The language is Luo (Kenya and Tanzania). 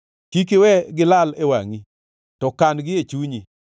Kik iwe gilal e wangʼi to kan-gi e chunyi;